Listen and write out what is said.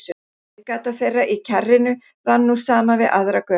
Reiðgata þeirra í kjarrinu rann nú saman við aðra götu.